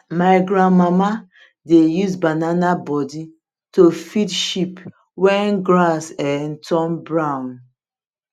my grandmama dey use banana body to feed sheep when grass um turn brown